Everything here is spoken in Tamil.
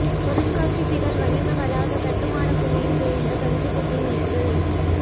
பொருட்காட்சி திடல் வணிக வளாக கட்டுமான குழியில் விழுந்த கன்றுகுட்டி மீட்பு